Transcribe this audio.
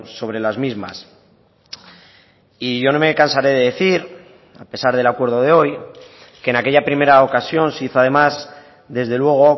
sobre las mismas y yo no me cansaré de decir a pesar del acuerdo de hoy que en aquella primera ocasión se hizo además desde luego